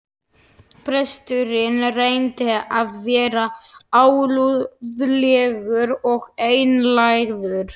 Presturinn reyndi að vera alúðlegur og einlægur.